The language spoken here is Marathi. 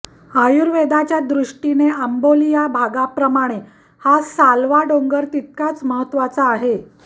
आयुर्वेदाच्या दृष्टीने आंबोली या भागाप्रमाणे हा सालवा डोंगर तितकाच महत्त्वाचा आहे